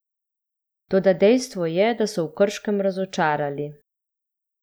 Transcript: Toda dejstvo je, da so v Krškem razočarali.